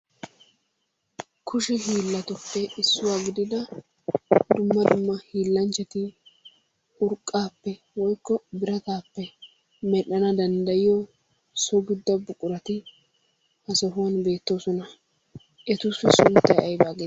Kushe hiilatuppe issuwa gidida dumma dumma hiillanchchati urqqaappe woykko birataappe medhdhana danddayiyo so giddo buqurati ha sohuwan beettoosona. Etussi sunttayi aybaa geetettii?